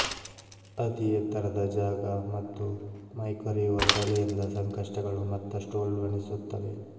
ಅತೀ ಎತ್ತರದ ಜಾಗ ಮತ್ತು ಮೈಕೊರೆಯುವ ಚಳಿಯಿಂದ ಸಂಕಷ್ಟಗಳು ಮತ್ತಷ್ಟು ಉಲ್ಬಣಿಸುತ್ತವೆ